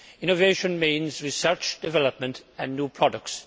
Innovation means research, development and new products.